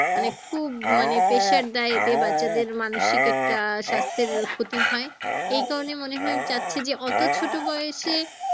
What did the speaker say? মানে খুব মানে pressure দেয় এতে বাচ্চাদের মানসিক একটা স্বাস্থ্যের ক্ষতি হয় এই কারণে মনে হয় চাইছে যে অত ছোটো বয়স এ